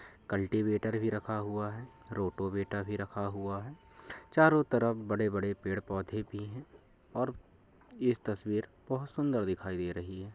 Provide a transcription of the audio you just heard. Cultivator भी रखा हुआ है। रोटोवेटा भी रखा हुआ है। चारों तरफ बड़े-बड़े पेड़ पौधे भी हैं और इस तस्वीर बहुत सुंदर दिखाई दे रही है।